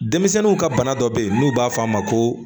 Denmisɛnninw ka bana dɔ bɛ yen n'u b'a f'a ma ko